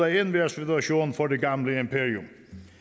af enhver situation for det gamle imperium